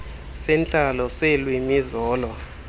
sentlalo seelwimi zolo